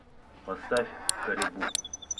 поставь карибу